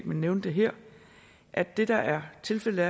vil nævne det her at det der er tilfældet